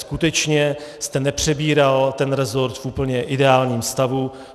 Skutečně jste nepřebíral ten resort v úplně ideálním stavu.